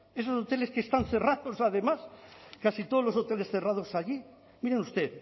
esos hoteles que están cerrados además casi todos los hoteles cerrados allí mire usted